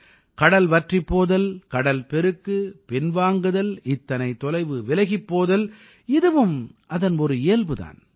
கடல் வற்றிப் போதல் கடல் பெருக்கு பின்வாங்குதல் இத்தனை தொலைவு விலகிப் போதல் இதுவும் அதன் ஒரு இயல்பு தான்